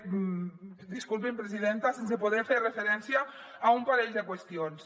disculpi’m presidenta sense poder fer referència a un parell de qüestions